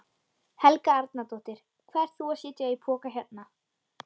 Helga Arnardóttir: Hvað ert þú að setja í poka hérna?